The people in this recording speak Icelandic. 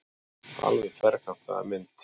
Alveg ferkantaða mynd.